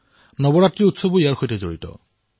নৱৰাত্ৰিৰ পৰ্বও ইয়াৰ সৈতে জড়িত